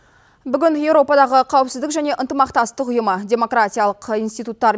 бүгін еуропадағы қауіпсіздік және ынтымақтастық ұйымы демократиялық институттар